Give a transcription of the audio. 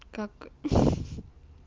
как ха ха